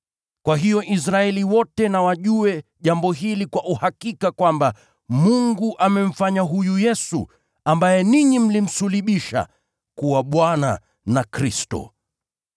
“Kwa hiyo Israeli wote na wajue jambo hili kwa uhakika kwamba: Mungu amemfanya huyu Yesu, ambaye ninyi mlimsulubisha, kuwa Bwana na Kristo.”